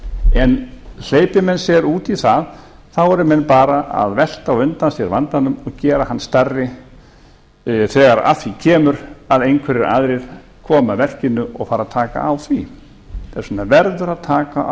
en hleypi menn sér út í það þá eru menn bara að velta á undan sér vandanum og gera hann stærri þegar að því kemur að einhverjir aðrir koma að verkinu og fara að taka á því þess vegna verður að taka á